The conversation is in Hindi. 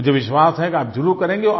मुझे विश्वास है कि आप ज़रूर करेंगे